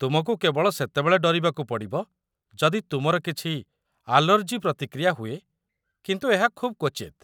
ତୁମକୁ କେବଳ ସେତେବେଳେ ଡରିବାକୁ ପଡ଼ିବ ଯଦି ତୁମର କିଛି ଆଲର୍ଜି ପ୍ରତିକ୍ରିୟା ହୁଏ, କିନ୍ତୁ ଏହା ଖୁବ୍ କ୍ୱଚିତ୍।